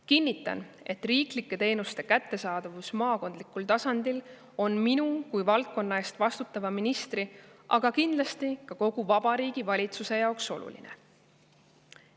Kinnitan, et riiklike teenuste kättesaadavus maakondlikul tasandil on minu kui valdkonna eest vastutava ministri, aga kindlasti ka kogu Vabariigi Valitsuse jaoks oluline.